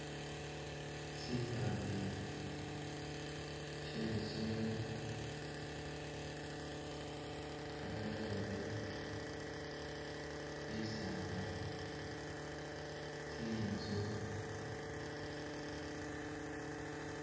Sipande she lisomelo, kamatoore, bisaala, tsinzu.